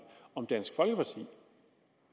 om dansk folkeparti